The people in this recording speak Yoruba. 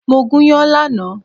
Mo gúnyán lánàá